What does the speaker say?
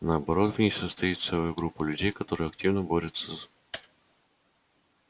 наоборот в ней состоит целая группа людей которая активно борется с